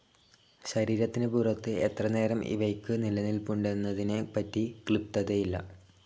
ശരീരത്തിന് പുറത്തു എത്ര നേരം ഇവയ്ക്കു നിലനിൽപ്പുണ്ടെന്നതിനെ പറ്റി ക്ലിപ്തതയില്ല